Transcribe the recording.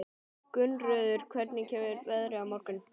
Gunnröður, hvernig er veðrið á morgun?